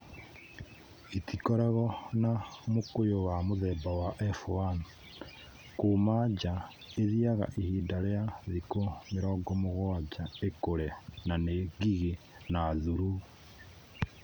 Itikoragwo na mũkũyũ wa mũthemba wa F1 - kuuma nja, ithiaga ihinda rĩa thikũ mĩrongo mũgwanja ikũre na nĩ ngigĩ na thuruu.